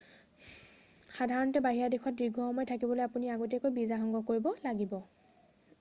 সাধাৰণতে বাহিৰা দেশত দীৰ্ঘসময় থাকিবলৈ আপুনি আগতীয়াকৈ ভিছা সংগ্ৰহ কৰিব লাগিব